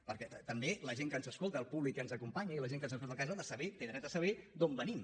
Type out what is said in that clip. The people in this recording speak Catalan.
perquè també la gent que ens escolta el públic que ens acompanya i la gent que està a la seva casa ha de saber té dret a saber d’on venim